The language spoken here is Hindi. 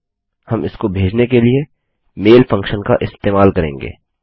हम इसको भेजने के लिए मैल फंक्शन का इस्तेमाल करेंगे